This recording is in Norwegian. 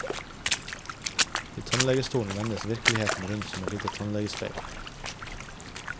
I tannlegestolen vendes virkeligheten rundt som et lite tannlegespeil.